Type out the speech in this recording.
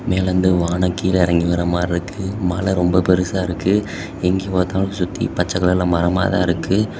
மேலிருந்து வானம் கீழ எறங்கி வரமாரி இருக்கு மலை ரொம்ப பெருசா இருக்கு எங்க பாத்தாலு சுத்தி பச்ச கலர்ல மரமாத்தா இருக்கு.